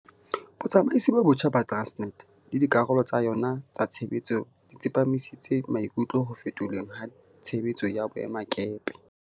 Botsamaisi bo botjha ba Tran snet le dikarolo tsa yona tsa tshebetso di tsepamisitse maikutlo ho fetolweng ha tshebetso ya boemakepe.